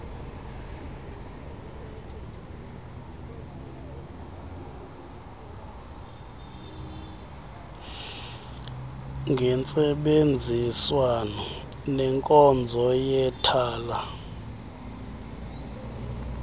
ngentsebenziswano nenkonzo yethala